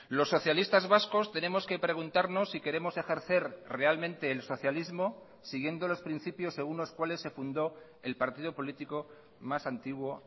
los socialistas vascos tenemos que preguntarnos si queremos ejercer realmente el socialismo siguiendo los principios según los cuales se fundó el partido político más antiguo